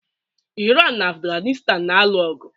Iran na Afghanistan na-alụ ọgụ